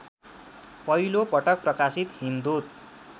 पहिलोपटक प्रकाशित हिमदूत